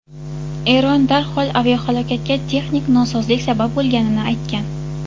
Eron darhol aviahalokatga texnik nosozlik sabab bo‘lganini aytgan.